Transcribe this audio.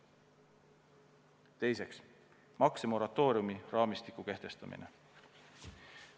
Teiseks, maksemoratooriumi raamistiku kehtestamine.